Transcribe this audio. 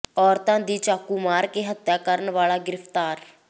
ਔਰਤ ਦੀ ਚਾਕੂ ਮਾਰ ਕੇ ਹੱਤਿਆ ਕਰਨ ਵਾਲਾ ਗਿ੍ਫ਼ਤਾਰ